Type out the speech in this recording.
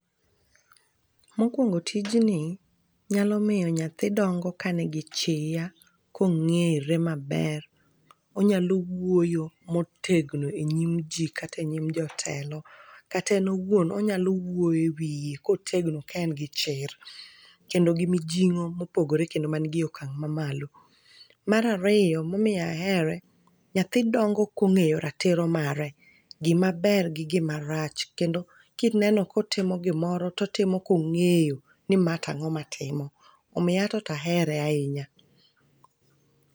Mokwongo tijni, nyalo miyo nyathi dongo ka nigi chia, kong'ere maber. Onyalo wuoyo motegno e nyim ji kata e nyim jotelo. Kata en owuon onyalo wuoyo e wiye kotegno ka en gi chir. Kendo gi mijing'o mopogore kendo manigi okang' mamalo. Mar ariyo momiyo ahere, nyathi dongo kong'eyo ratiro mare, gimaber gi gimarach, kendo kineno kotimo gimoro, totimo kong'eyo ni ma tang'o matimo. Omiyo an to ahere ahinya.